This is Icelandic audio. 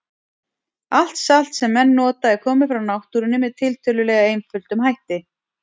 Allt salt sem menn nota er komið frá náttúrunni með tiltölulega einföldum hætti.